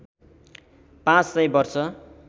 ५ सय वर्ष